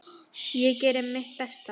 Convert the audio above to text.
Ég geri mitt besta.